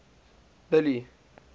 billy